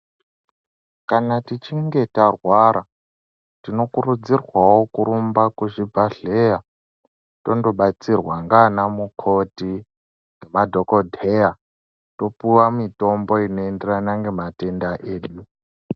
Kana tichinge tarwara tinokurudzirwawo kurumba kuzvibhehlera tondobatsirwa ngaana mukoti ngemadhokodheya topuwa mitombo inoenderana ngematenda edu.